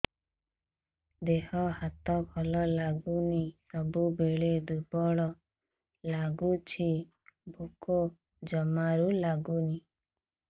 ଦେହ ହାତ ଭଲ ଲାଗୁନି ସବୁବେଳେ ଦୁର୍ବଳ ଲାଗୁଛି ଭୋକ ଜମାରୁ ଲାଗୁନି